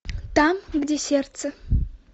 там где сердце